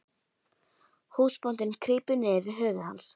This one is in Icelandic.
Húsbóndinn krýpur niður við höfuð hans.